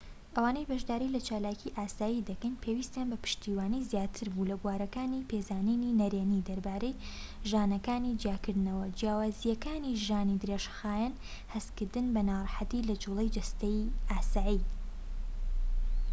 ئەوانەی بەشداری لە چالاکی ئاسایی دەکەین پێویستیان بە پشتیوانی زیاتر بوو لە بوارەکانی پێزانینی نەرێنی دەربارەی ژانەکانی جیاکردنەوەی جیاوازیەکانی ژانی درێژخایەن و هەستکردن بە ناڕەحەتی لە جووڵەی جەستەیی ئاسایی